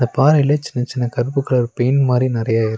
பாறைல சின்ன சின்ன கருப்பு கலர் பெயிண்ட் மாரி நறைய இரு--